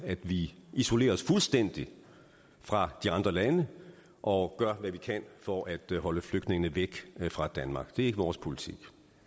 at vi isolerer os fuldstændigt fra de andre lande og gør hvad vi kan for at holde flygtningene væk fra danmark det er ikke vores politik